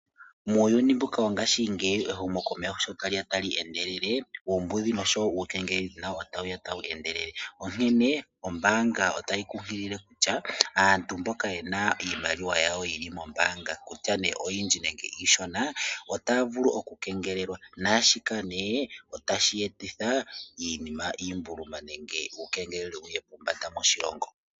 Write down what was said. Muuyuni mbuka wongashingeyi ehumokomeho sho tali ya tali endelele, uumbudhi nosho wo uukengeleledhi nawo otawu ya tawu endelele, onkene ombaanga otayi kunkilile kutya aantu mboka ye na iimaliwa yawo yi li mombaanga kutya nee oyindji nenge iishona, otaya vulu okukengelelwa naashika nee otashi etitha iimbuluma nenge uukengeleledhi wu ye pombanda moshilongo.